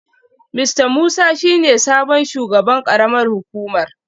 Mista Musa shi ne sabon shugaban karamar hukumar